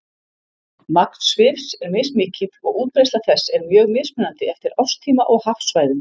Magn svifs er mismikið og útbreiðsla þess er mjög mismunandi eftir árstíma og hafsvæðum.